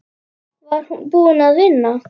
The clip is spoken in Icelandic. Var hún búin að vinna?